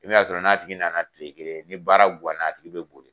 I bi n'a sɔrɔ n'a tigi nana kile kelen ni baara ganna a tigi be boli.